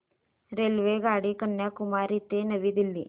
रेल्वेगाडी कन्याकुमारी ते नवी दिल्ली